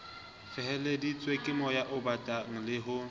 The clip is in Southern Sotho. feleheditsweng kemoya obatang le ho